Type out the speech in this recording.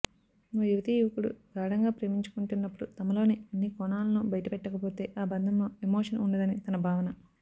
ఓ యువతీ యువకుడు గాఢంగా ప్రేమించుకుంటున్నప్పుడు తమలోని అన్ని కోణాలను బయటపెట్టకపోతే ఆ బంధంలో ఎమోషన్ ఉండదని తన భావన